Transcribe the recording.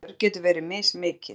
Skarð í vör getur verið mismikið.